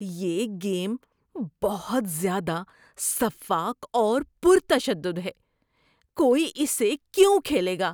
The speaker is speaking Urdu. یہ گیم بہت زیادہ سفّاک اور پُرتشدد ہے۔ کوئی اسے کیوں کھیلے گا؟